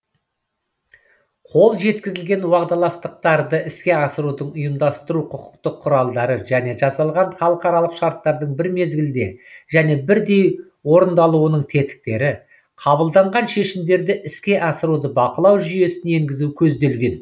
қол жеткізілген уағдаластықтарды іске асырудың ұйымдастыру құқықтық құралдары және жасалған халықаралық шарттардың бір мезгілде және бірдей орындалуының тетіктері қабылданған шешімдерді іске асыруды бақылау жүйесін енгізу көзделген